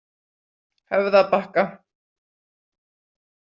Höfðabakka